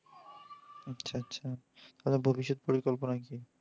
আচ্ছা আচ্ছা। তাহলে ভবিষ্যৎ পরিকল্পনা কী?